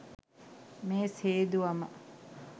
මේස් හේදුවම